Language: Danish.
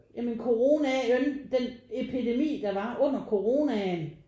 Ja men coronaen den epidemi der var under coronaen